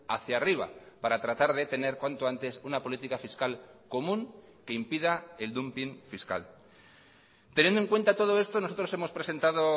hacia arriba para tratar de tener cuanto antes una política fiscal común que impida el dumping fiscal teniendo en cuenta todo esto nosotros hemos presentado